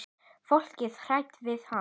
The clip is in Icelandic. Fólkið er hrætt við hann.